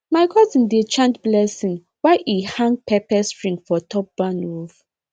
my cousin dey chant blessing while e hang pepper string for top barn roof